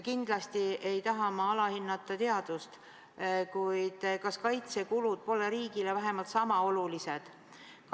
Kindlasti ei taha ma alahinnata teadust, kuid kas kaitsekulud pole riigile vähemalt sama olulised?